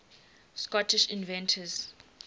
scottish inventors